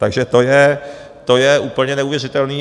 Takže to je úplně neuvěřitelný.